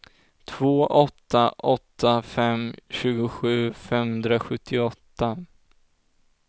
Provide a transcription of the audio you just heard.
två åtta åtta fem tjugosju femhundrasjuttioåtta